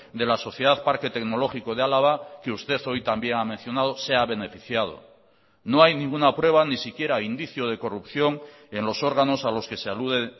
de la sociedad parque tecnológico de álava que usted hoy también ha mencionado se ha beneficiado no hay ninguna prueba ni siquiera indicio de corrupción en los órganos a los que se alude